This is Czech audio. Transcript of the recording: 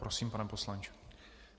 Prosím, pane poslanče.